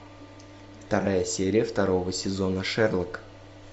вторая серия второго сезона шерлок